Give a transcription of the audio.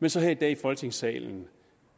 men så her i dag i folketingssalen